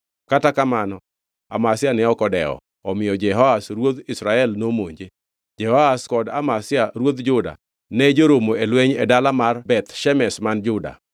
Kata kamano Amazia ne ok odewo, omiyo Jehoash ruodh Israel nomonje. Jehoash kod Amazia ruodh Juda ne joromo e lweny e dala mar Beth Shemesh man Juda.